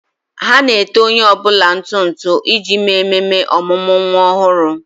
Ha na-ete onye ọ bụla ntụ ntụ iji mee ememe ọmụmụ nwa ọhụrụ.